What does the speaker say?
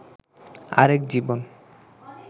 আরেক জীবন